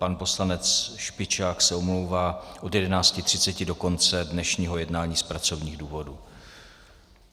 Pan poslanec Špičák se omlouvá od 11.30 do konce dnešního jednání z pracovních důvodů.